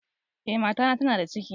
Eh, mata na tana da ciki.